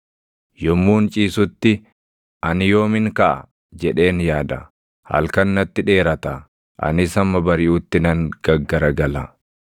Yommuun ciisutti, ‘Ani yoomin kaʼa?’ jedheen yaada. Halkan natti dheerata; anis hamma bariʼutti nan gaggaragala.